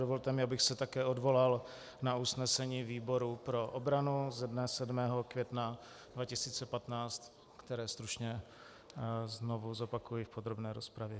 Dovolte mi, abych se také odvolal na usnesení výboru pro obranu ze dne 7. května 2015, které stručně znovu zopakuji v podrobné rozpravě.